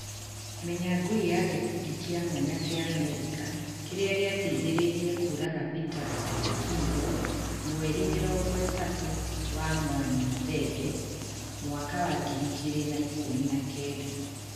Menya Ngui ya gĩkundi kĩa mwanya kĩa Amerika kĩrĩa gĩateithĩrĩirie kũraga Peter Kigo mweri mĩrongo ĩtatũ wa mwania thenge mwaka wa ngiri igĩri na ikũmi na kenda